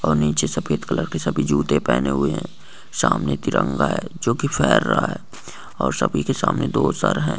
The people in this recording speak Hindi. और नीचे सफेद कलर के सभी जुते पेहने हुए है सामने तिरंगा है जोकि पेरहा है और सभी के सामने दो सर है।